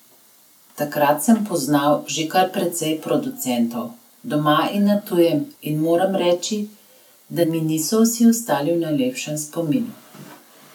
Takrat sem poznal že kar precej producentov, doma in na tujem, in moram reči, da mi niso vsi ostali v najlepšem spominu.